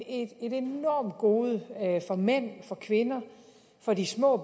et enormt gode både for mændene kvinderne og de små